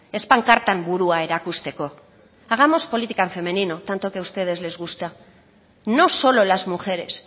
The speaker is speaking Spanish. ez pankartan burua erakusteko hagamos política en femenino tanto que ustedes les gusta no solo las mujeres